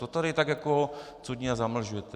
To tady tak jako cudně zamlžujete.